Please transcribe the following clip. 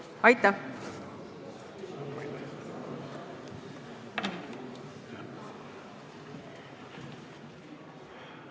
Aitäh!